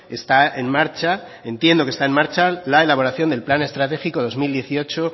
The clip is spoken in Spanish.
está en marcha entiendo que está en marcha la elaboración del plan estratégico dos mil dieciocho